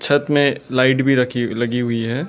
छत में लाइट भी रखी लगी हुई है।